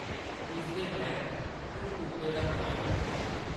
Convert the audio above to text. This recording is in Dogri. इसदे परैंत्त उन्न कूपे दा मुआयना कीता ।